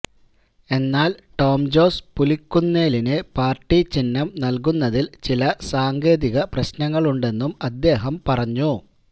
എന്നാല് ടോം ജോസ് പുലിക്കുന്നേലിന് പാര്ട്ടി ചിഹ്നം നല്കുന്നതില് ചില സാങ്കേതിക പ്രശ്നങ്ങളുണ്ടെന്നും അദ്ദേഹം പറഞ്ഞു